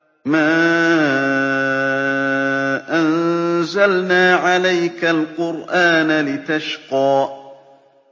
مَا أَنزَلْنَا عَلَيْكَ الْقُرْآنَ لِتَشْقَىٰ